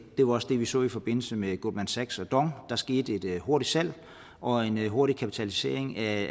det var også det vi så i forbindelse med goldman sachs og dong der skete et hurtigt salg og en hurtig kapitalisering af